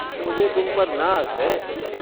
मुझे तुम पर नाज़ है।